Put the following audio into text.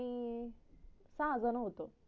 आम्ही सहा जन होतो